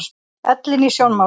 Ellin í sjónmáli.